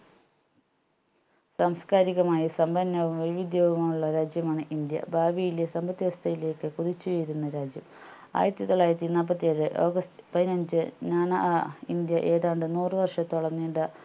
സാംസ്‌കാരികമായ സമ്പന്നവും വൈവിധ്യവുമുള്ള രാജ്യമാണ് ഇന്ത്യ ഭാവിയിലെ സമ്പത് വ്യവസ്ഥയിലേക്ക് കുതിച്ചുയരുന്ന രാജ്യം ആയിരത്തിത്തൊള്ളായിരത്തി നാല്പത്തിയേഴു ഓഗസ്റ്റ് പതിനഞ്ചു നാനാ അഹ് ഇന്ത്യ ഏതാണ്ട് നൂറ് വർഷത്തോളം നീണ്ട